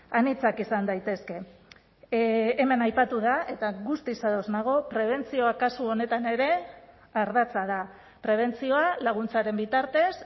anitzak izan daitezke hemen aipatu da eta guztiz ados nago prebentzioa kasu honetan ere ardatza da prebentzioa laguntzaren bitartez